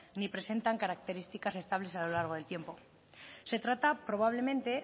ni presentan características estables a lo largo del tiempo se trata probablemente